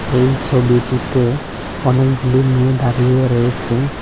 এই ছবিটিতে অনেকগুলি মেয়ে দাঁড়িয়ে রয়েসে।